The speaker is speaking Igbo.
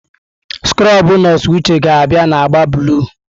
Skrobụ nọọsụ Uche ga-abịa na agba blụu.